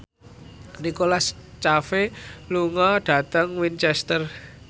Nicholas Cafe lunga dhateng Winchester